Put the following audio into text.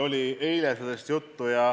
Tõesti, eile oli sellest juttu.